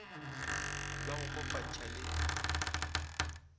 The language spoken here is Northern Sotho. be ba go kopantšha le